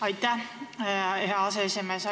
Aitäh, hea aseesimees!